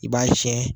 I b'a siyɛn